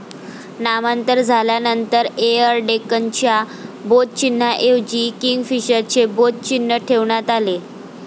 नामांतर झाल्यानंतर एयर डेक्कनच्या बोधचिन्हाऐवजी किंगफिशरचे बोध चिन्ह ठेवण्यात आले.